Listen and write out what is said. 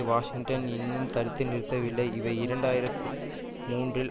Washington இன்னும் தடுத்து நிறுத்தவில்லை இவை இரண்டு ஆயிரத்து மூன்றில்